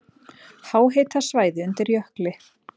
Háhitasvæði undir jökli